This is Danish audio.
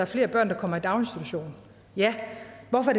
flere børn der kommer i daginstitutioner ja hvorfor